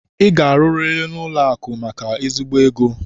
Ị ga-arụriri n'ụlọakụ maka ezigbo ego!